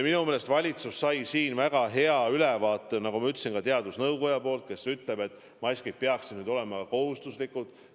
Minu meelest valitsus sai sellest väga hea ülevaate, nagu ma ütlesin, ka teadusnõukojalt, kes ütleb, et maskid peaksid olema kohustuslikud.